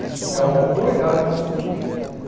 Isso é uma autoridade constituída.